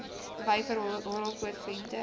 vyver horrelpoot venter